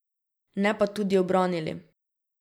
Ne pa tudi ubranili.